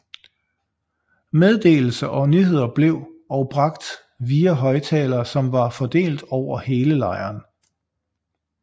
Meddelelser og nyheder blev og bragt via højtalere som var fordelt over hele lejren